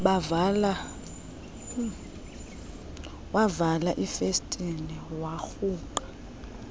wavala ifestile yagrungqa